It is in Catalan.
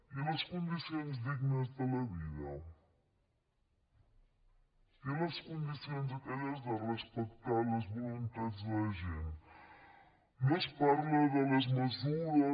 i les condicions dignes de la vida i les condicions aquelles de respectar les voluntats de la gent no es parla de les mesures